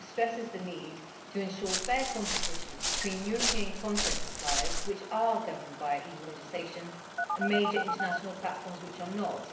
It also stresses the need to ensure fair competition between European content suppliers which are governed by EU legislation and major international platforms which are not.